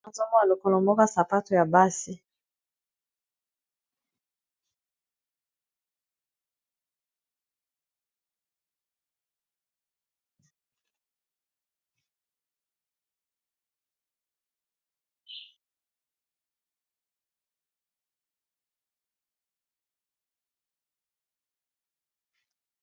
Awa nazomona lokolo moka ya sapato ya bana basi.